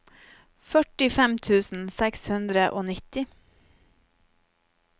førtifem tusen seks hundre og nitti